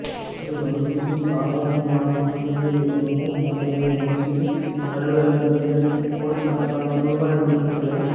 ஒரு வங்கியில் சாதாரணமாகப் பணிபுரியும் ஒருவர் தன்னுடைய வங்கியில் அலுவலக நேரத்தில் கோடிக்கணக்கான ரூபாய் நோட்டுகளைக்